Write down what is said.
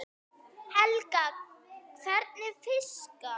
Helga: Hvernig fiska?